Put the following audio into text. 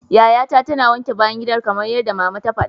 Yayata tana wanke bayan gidan kamar yadda mama ta fada.